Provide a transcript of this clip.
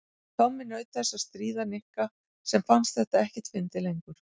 Tommi naut þess að stríða Nikka sem fannst þetta ekkert fyndið lengur.